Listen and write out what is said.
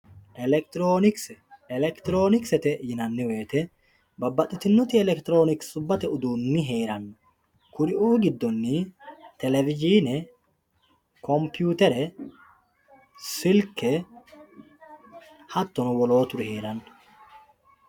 Electironkse electronksete yinani woyite babaxitino electronksete uduuni heerano kuriuu gidoni televsine conputere silke hatono woloturi heerano